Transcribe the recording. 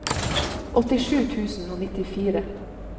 åttisju tusen og nittifire